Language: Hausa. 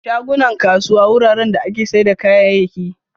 Shagunan kasuwa wuraren da ake siyar da kayayyaki.